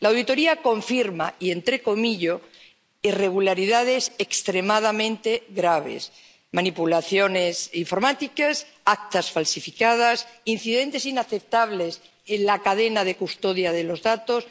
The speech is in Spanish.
La auditoría confirma —y entrecomillo— irregularidades extremadamente graves manipulaciones informáticas, actas falsificadas, incidentes inaceptables en la cadena de custodia de los datos...